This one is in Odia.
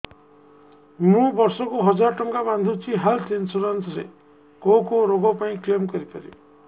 ମୁଁ ବର୍ଷ କୁ ହଜାର ଟଙ୍କା ବାନ୍ଧୁଛି ହେଲ୍ଥ ଇନ୍ସୁରାନ୍ସ ରେ କୋଉ କୋଉ ରୋଗ ପାଇଁ କ୍ଳେମ କରିପାରିବି